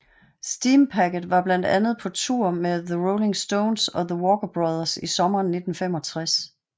Steampacket var blandt andet på tour med The Rolling Stones og the Walker Brothers i sommeren 1965